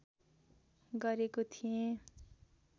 गरेको थिए